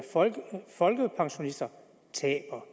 folkepensionisterne taber